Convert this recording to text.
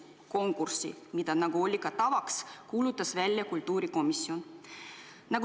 Konkursi, nagu tavaks on olnud, kuulutas välja kultuurikomisjon.